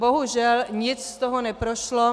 Bohužel nic z toho neprošlo.